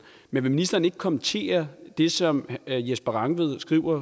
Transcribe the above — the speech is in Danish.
men vil ministeren ikke kommentere det som jesper rangvid skrev